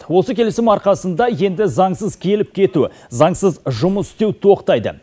осы келісім арқасында енді заңсыз келіп кету заңсыз жұмыс істеу тоқтайды